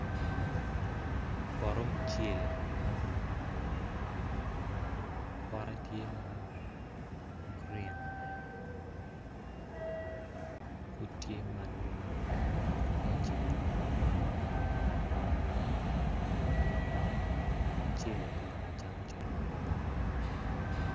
Poto mucele pote tye ma green pud tye ma numu pud pe ocek, mucele kono kicamo macalo kwon.